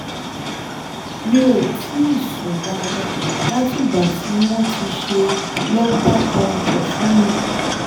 mi ò tíì sùn dáadáa látìgbà tí wọ́n ti ṣe lumbar puncture fún mi